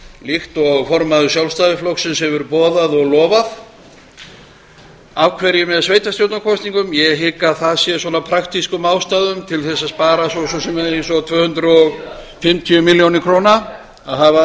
líkt og formaður sjálfstæðisflokksins hefur boðað og lofað af hverju með sveitarstjórnarkosningum ég hygg að það sé af praktískum ástæðum til að spara svo sem eins og tvö hundruð og fimmtíu milljónir króna að hafa það